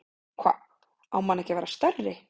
Hva, á hann ekki að vera stærri?